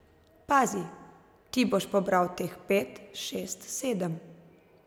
Pazi, ti boš pobral teh pet, šest, sedem.